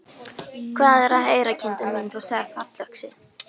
Hvað er að heyra, kindin mín, þú sagðir fallöxi.